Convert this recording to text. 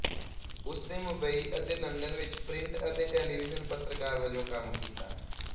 ਉਸਨੇ ਮੁੰਬਈ ਅਤੇ ਲੰਡਨ ਵਿੱਚ ਪ੍ਰਿੰਟ ਅਤੇ ਟੈਲੀਵਿਜ਼ਨ ਪੱਤਰਕਾਰ ਵਜੋਂ ਕੰਮ ਕੀਤਾ